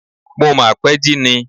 Mo mà pẹ́ jí ni.